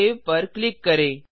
save पर click करें